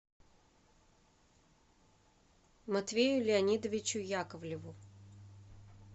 матвею леонидовичу яковлеву